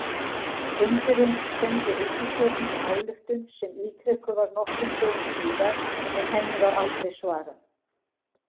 Fundurinn sendi ríkisstjórninni ályktun sem ítrekuð var nokkrum dögum síðar, en henni var aldrei svarað.